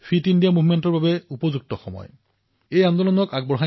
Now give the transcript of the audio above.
হিমালয়ৰ কিছু অংশত বৰফে চাদৰেৰে ঢাকি ধৰিছে কিন্তু এই বতৰ হল ফিট ইণ্ডিয়াৰ